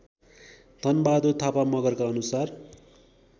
धनबहादुर थापा मगरका अनुसार